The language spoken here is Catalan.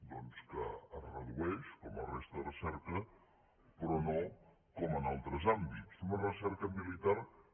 doncs que es redueix com la resta de recerca però no com en altres àmbits una recerca militar que